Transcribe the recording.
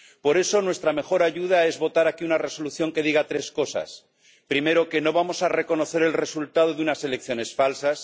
Por eso, nuestra mejor ayuda es votar aquí una resolución que diga tres cosas primero, que no vamos a reconocer el resultado de unas elecciones falsas